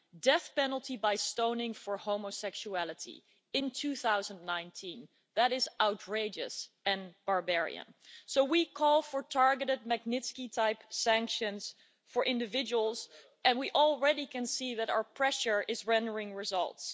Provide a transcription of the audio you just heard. Death penalty by stoning for homosexuality in 2019 is outrageous and barbarian, so we call for targeted Magnitsky type sanctions for individuals and we can already see that our pressure is rendering results.